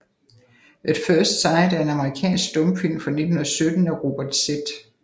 At First Sight er en amerikansk stumfilm fra 1917 af Robert Z